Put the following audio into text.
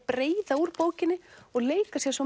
breiða úr bókinni og leika sér svo